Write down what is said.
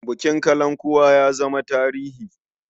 Bukin kalankuwa ya zama tarihi.